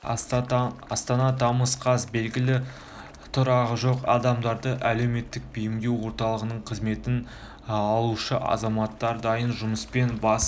астана тамыз қаз белгілі тұрағы жоқ адамдарды әлеуметтік бейімдеу орталығының қызметін алушы азаматтар дайын жұмыстан бас